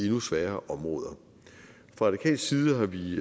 endnu sværere områder fra radikal side har vi